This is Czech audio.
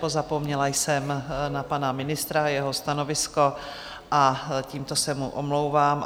Pozapomněla jsem na pana ministra a jeho stanovisko a tímto se mu omlouvám.